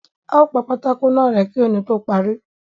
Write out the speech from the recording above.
A ó pa pátákó náà rẹ̀ẹ́ kí òní tó parí.